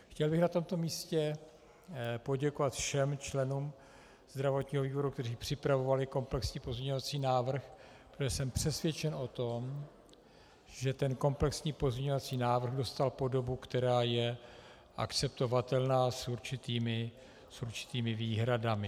Chtěl bych na tomto místě poděkovat všem členům zdravotního výboru, kteří připravovali komplexní pozměňovací návrh, protože jsem přesvědčen o tom, že ten komplexní pozměňovací návrh dostal podobu, která je akceptovatelná, s určitými výhradami.